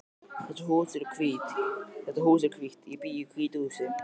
Þetta hús er hvítt. Ég bý í hvítu húsi.